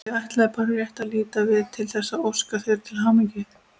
Ég ætlaði bara rétt að líta við til þess að óska þér til hamingju.